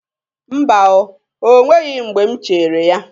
Mba o, o nweghi mgbe m chere ya.